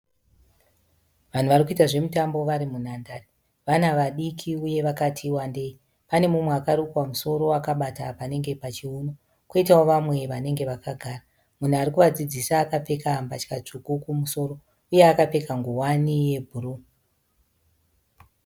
Vanhu vari kuita zvemutambo vari munhandare. Vana vadiki uye vakati wandei. Pane umwe akarukwa musoro akabata panenge pachiuno kwoitawo vamwe vanenge vakagara. Munhu ari kuvadzidzisa akapfeka mbatya tsvuku kumusoro uye akapfeka nguwani yebhuruu.